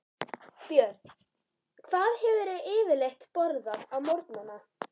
Björn: Hvað hefurðu yfirleitt borðað á morgnanna?